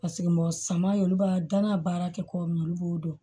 Paseke mɔgɔ suman olu b'a dan na baara kɛ cogo min na olu b'o dɔn